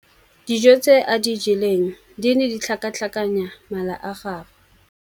Dijô tse a di jeleng di ne di tlhakatlhakanya mala a gagwe.